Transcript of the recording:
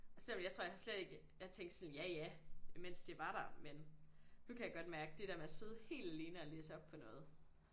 Selvom jeg tror jeg har slet ikke jeg tænkte sådan ja ja mens det var der men nu kan jeg godt mærke det der med at sidde helt alene og læse op på noget